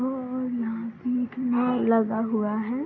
और नाव बीट में लगा हुआ है।